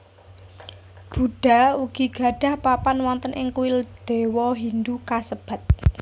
Buddha ugi gadhah papan wonten ing kuil dewa Hindu kassebat